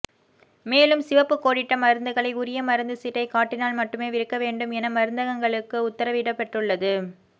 மேலும் சிவப்பு கோடிட்ட மருந்துகளை உரிய மருந்து சீட்டை காட்டினால் மட்டுமே விற்க வேண்டும் என மருந்தகங்களுக்கு உத்தரவிடப்பட்டுள்ளது